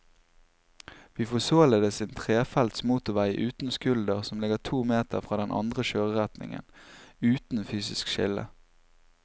Vi får således en trefelts motorvei uten skulder som ligger to meter fra den andre kjøreretningen, uten fysisk skille.